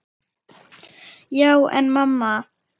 Já, en mamma.!